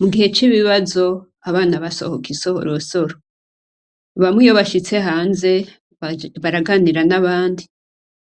Mugihe cibibazo abana basohoka isorosoro, bamwe iyo bashitse hanze baraganira nabandi,